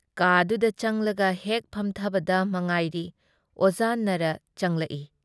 ꯀꯥꯗꯨꯗ ꯆꯪꯂꯒ ꯍꯦꯛ ꯐꯝꯊꯕꯗ ꯃꯉꯥꯏꯔꯤ ꯑꯣꯖꯥ ꯅꯥꯔꯥ ꯆꯪꯂꯛꯏ ꯫